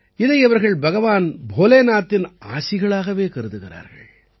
இதை இவர்கள் பகவான் போலேநாத்தின் ஆசிகளாகவே கருதுகிறார்கள்